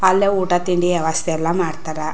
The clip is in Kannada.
ಅಲ್ಲೆ ಊಟ ತಿಂಡಿ ವ್ಯವಸ್ಥೆ ಎಲ್ಲಾ ಮಾಡ್ತಾರ .